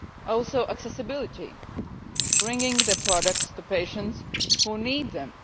also accessibility bringing the products to patients who need them.